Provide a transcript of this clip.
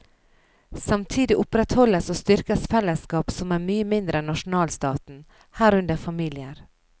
Samtidig opprettholdes og styrkes fellesskap som er mye mindre enn nasjonalstaten, herunder familier.